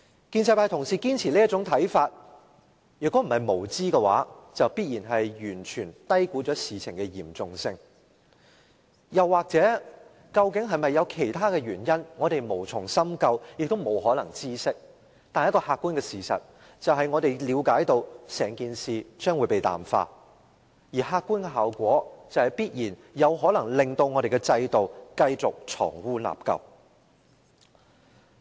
建制派同事堅持這種看法，如果不是無知，便必然是完全低估事情的嚴重性，又或究竟是否有其他原因，我們無從深究，亦不可能知悉，但一個客觀事實是，我們了解整件事將會被淡化，而客觀效果必然有可能令我們的制度繼續藏污納垢。